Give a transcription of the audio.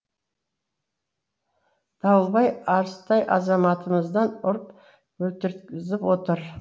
дауылбай арыстай азаматымызды ұрып өлтірткізіп отыр